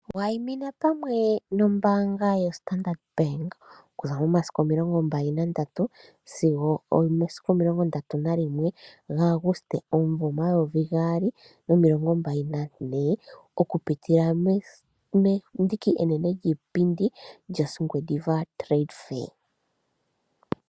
Waimina pamwe nombaanga yo Standard Bank okuza momasiku mbali nagatatu sigo ndatu na limwe gaAguste omumvo omayovi gaali nomilongo mbali na ne okupitila mendiki enene lyiipindi lyOngwediva Trade Fair.